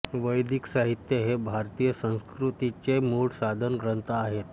वैदिक साहित्य हे भारतीय संस्कृतीचे मूळ साधन ग्रंथ आहेत